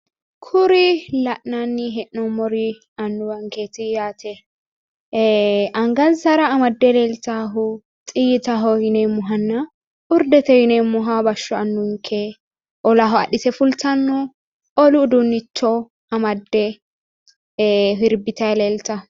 Kuri la'nanni hee'noommori annuwankeeti yaate ee angansara amadde leetaahu xiyyitaho yineemmohanna urdete yineemmoha bashsho annuwinke olaho adhite fultanno olu uduunnicho adhite sirbitayi leeltanno